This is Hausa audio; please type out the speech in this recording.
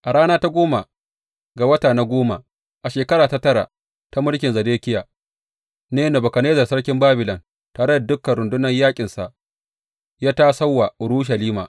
A rana ta goma ga wata na goma, a shekara ta tara ta mulkin Zedekiya ne Nebukadnezzar sarkin Babilon tare da dukan rundunan yaƙinsa, ya tasam wa Urushalima.